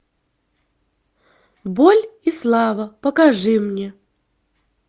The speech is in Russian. боль и слава покажи мне